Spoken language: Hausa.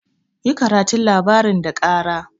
Yi karatun labarin da kara!